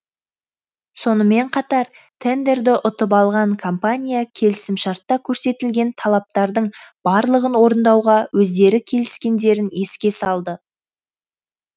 сонымен қатар тендерді ұтып алған компания келісімшартта көрсетілген талаптардың барлығын орындауға өздері келіскендерін еске салды